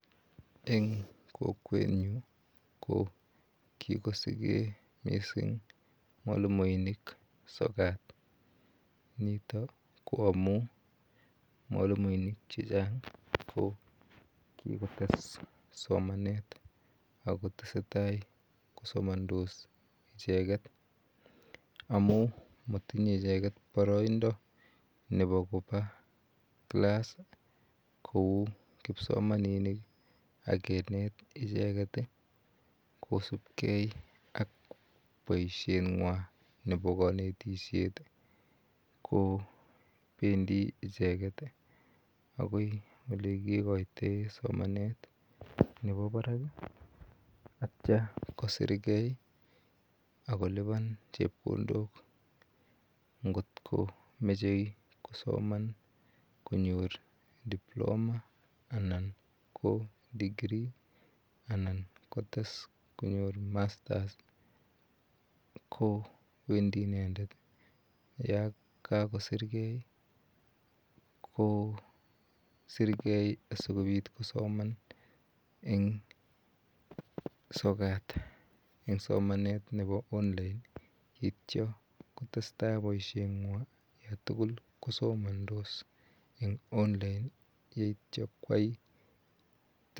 Inyoru eng kokwenyu, ko kikosige, mising mwalimoinik sokat. nikok ko amun mwalimuinik chechang, ko kikotes somanet ako tesetai kosomandos icheket. Amun matinyei icheket boroindo nebo koba class kou kilsomaninik alak kenet kisupgei ak boishengwai nebo kanetishet ko bendi icheket, akoi yekikoitoe somanet nebo barak atio kosirgei ak kolipan. Ngotko machei kosoman kinyor Diploma anan ko degree, ana kites konyor masters ko wendi inendet yo kakisirgei ,kosirgei sikobit kosomaneng sokat. Somanet nebi online. Yeityo kotestai ak boishengwai yotugul kosomantos eng online